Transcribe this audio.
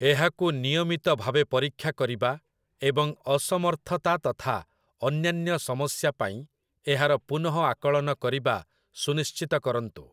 ଏହାକୁ ନିୟମିତ ଭାବେ ପରୀକ୍ଷା କରିବା ଏବଂ ଅସମର୍ଥତା ତଥା ଅନ୍ୟାନ୍ୟ ସମସ୍ୟା ପାଇଁ ଏହାର ପୁନଃଆକଳନ କରିବା ସୁନିଶ୍ଚିତ କରନ୍ତୁ ।